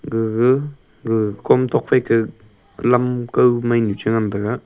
gaga gaga kom tuakphai ka lam kao mainu cha ngan taga.